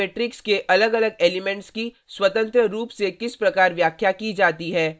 अब हम देखते हैं कि एक मेट्रिक्स के अलगअलग एलीमेंट्स की स्वतंत्र रूप से किस प्रकार व्याख्या की जाती है